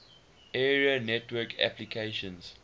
area network applications